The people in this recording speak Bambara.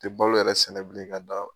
Te balo yɛrɛ sɛnɛbilen ka da